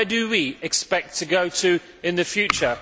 Where do we expect to go in the future?